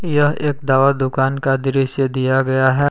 यह एक दवा दुकान का दृश्य दिया गया है।